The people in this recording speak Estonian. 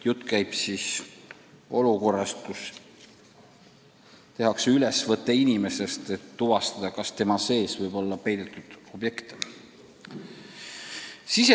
Jutt käib olukorrast, kus tehakse ülesvõte inimesest, et tuvastada, kas tema sees on peidetud objekte.